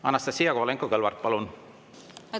Anastassia Kovalenko-Kõlvart, palun!